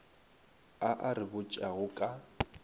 a a re botšago ka